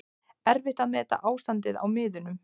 Erfitt að meta ástandið á miðunum